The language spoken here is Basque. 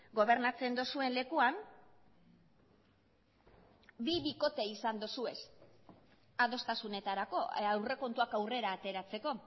gobernatzen duzuen lekuan bi bikote izan dituzue adostasunetarako aurrekontuak aurrera ateratzeko